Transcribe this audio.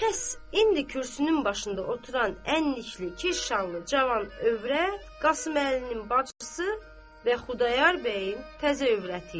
Pəs, indi kürsünün başında oturan ənnlikli kirşanlı cavan övrət Qasım Əlinin bacısı və Xudayar bəyin təzə övrəti idi.